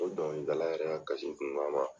O dɔnkilidala yɛrɛ ka kun n k'an ma